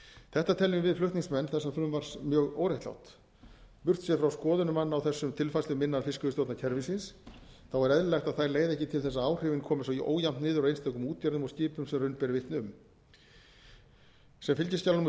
þetta teljum við flutningsmenn þessa frumvarps mjög óréttlátt burtséð frá skoðunum manna á þessum tilfærslum innan fiskveiðistjórnarkerfisins er eðlilegt að þær leiði ekki til þess að áhrifin komi svo ójafnt niður á einstökum útgerðum og skipum sem raun ber vitni sem fylgiskjal númer